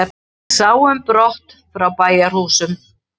Sám brott frá bæjarhúsum.